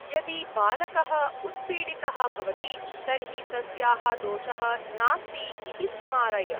यदि बालकः उत्पीडितः भवति तर्हि तस्याः दोषः नास्ति इति स्मारय।